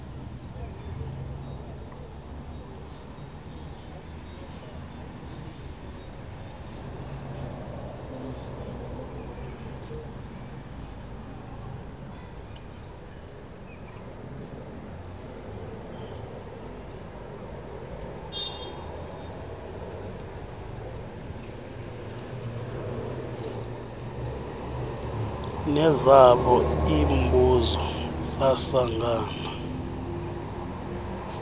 nezabo iimbuso zasangana